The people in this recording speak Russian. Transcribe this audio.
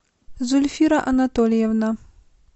зульфира анатольевна